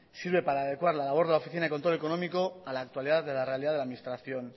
sirve para adecuar la labor de la oficina de control económico a la actualidad de la realidad de la administración